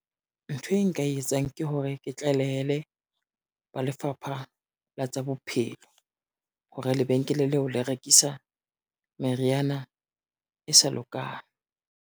Ntho e nka e etsang ke hore, ke tlalehele ba Lefapha la tsa Bophelo, hore lebenkele leo le rekisa meriana e sa lokang.